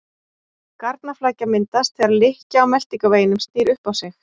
Garnaflækja myndast þegar lykkja á meltingarveginum snýr upp á sig.